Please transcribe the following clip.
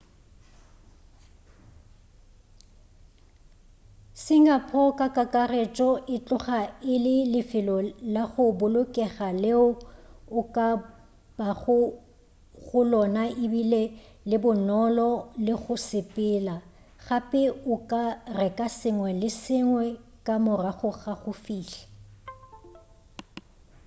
singapore ka kakaretšo e tloga e le lefelo la go bolokega leo o ka bago go lona ebile le bonolo go le sepela gape o ka reka sengwe le se sengwe ka morago ga go fihla